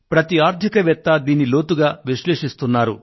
ప్రతి ఆర్థిక వేత్త దీనిని లోతుగా విశ్లేషిస్తున్నారు